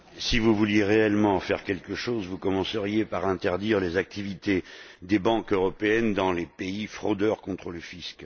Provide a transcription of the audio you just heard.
Si vous vouliez réellement faire quelque chose, vous commenceriez par interdire les activités des banques européennes dans les pays fraudeurs contre le fisc.